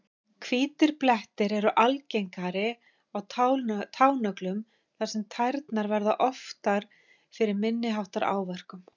Hvítir blettir eru algengari á tánöglum þar sem tærnar verða oftar fyrir minni háttar áverkum.